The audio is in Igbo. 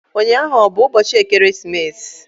Ụnyaahụ ọ bụ ụbọchị ekeresimesi?